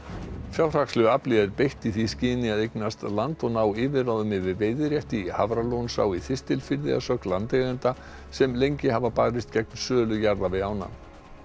fjárhagslegu afli er beitt í því skyni að eignast land og ná yfirráðum yfir veiðirétti í Hafralónsá í Þistilfirði að sögn landeigenda sem lengi hafa barist gegn sölu jarða við ána